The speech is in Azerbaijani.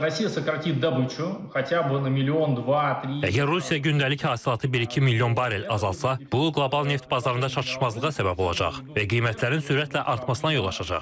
Yəni Rusiya günəlik hasilatı bir-iki milyon barrel azalsa, bu qlobal neft bazarında çatışmazlığa səbəb olacaq və qiymətlərin sürətlə artmasına yol açacaq.